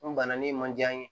N banana ni ma diya ye